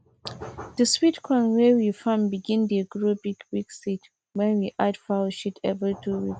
the sweet corn wey we farm begin dey grow big big seed when we add foul sheat every two weeks